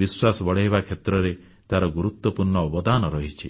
ବିଶ୍ୱାସ ବଢ଼ାଇବା କ୍ଷେତ୍ରରେ ତାର ଗୁରୁତ୍ୱପୂର୍ଣ୍ଣ ଅବାଦନ ରହିଛି